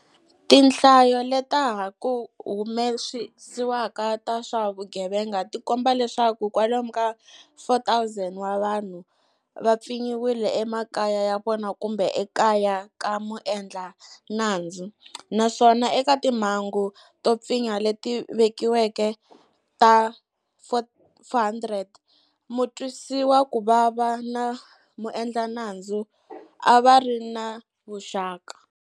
Tinhlayo leta ha ku humesiwaka ta swa vugevenga ti komba leswaku kwalomu ka 4,000 wa vanhu va pfinyiwile emakaya ya vona kumbe ekaya ka muendla nandzu, naswona eka timhangu to pfinya leti vikiweke ta 400 mutwisiwakuvava na muendlanandzu a va ri ni vuxaka.